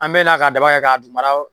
An be na ka da kɛ ka dukumalaw